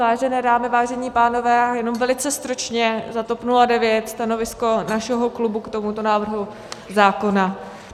Vážené dámy, vážení pánové, jenom velice stručně za TOP 09, stanovisko našeho klubu k tomuto návrhu zákona.